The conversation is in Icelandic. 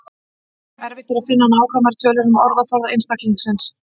Erfitt er að finna nákvæmar tölur um orðaforða einstaklingsins.